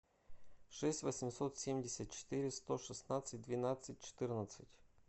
шесть восемьсот семьдесят четыре сто шестнадцать двенадцать четырнадцать